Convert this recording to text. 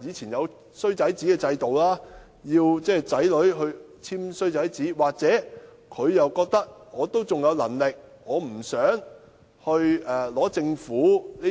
以往有"衰仔紙"制度，他們不想子女簽"衰仔紙"，又或者他們認為自己仍有能力，故不想申請政府的